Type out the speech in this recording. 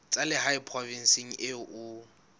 tsa lehae provinseng eo o